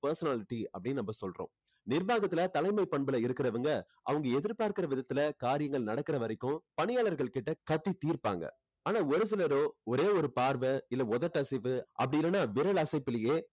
personality அப்படின்னு நாம சொல்லுறோம் நிர்வாகத்துல தலைமை பண்புல இருக்குறவங்க அவங்க எதிர்பார்க்குற விதத்துல காரியங்கள் நடக்குற வரைக்கும் பணியாளர்கள் கிட்ட கத்தி தீர்ப்பாங்க ஆனா ஒரு சிலரோ ஒரே ஒரு பார்வை இல்ல உதட்டு அசைவு அப்படி இல்லன்னா விரல் அசைப்பிலேயே